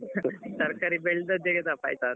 ತರ್ಕಾರಿ ಬೆಳ್ದದ್ದೆ ತಪ್ಪಾಯ್ತಾ ಅಂತ.